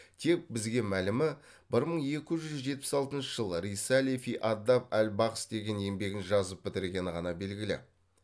тек бізге мәлімі бір мың екі жүз жетпіс алтыншы жылы рисали фи адаб ал бағс деген еңбегін жазып бітіргені ғана белгілі